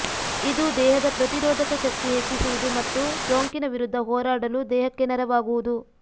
ಇದು ದೇಹದ ಪ್ರತಿರೋಧಕ ಶಕ್ತಿ ಹೆಚ್ಚಿಸುವುದು ಮತ್ತು ಸೋಂಕಿನ ವಿರುದ್ಧ ಹೋರಾಡಲು ದೇಹಕ್ಕೆ ನೆರವಾಗುವುದು